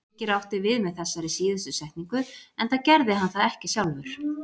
Birkir átti við með þessari síðustu setningu enda gerði hann það ekki sjálfur.